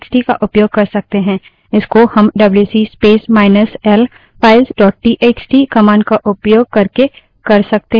इसको हम WC space minus L files dot TXT wc space minus l files dot txt command का उपयोग करके कर सकते हैं